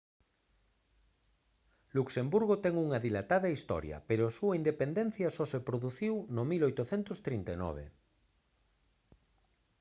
luxemburgo ten unha dilatada historia pero a súa independencia só se produciu no 1839